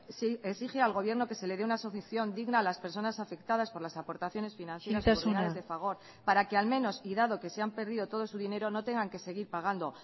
exige al gobierno que se le dé una solución digna a las personas afectadas por las aportaciones financieras de fagor isiltasuna para que al menos y dado que se han perdido todo su dinero no tengan que seguir pagando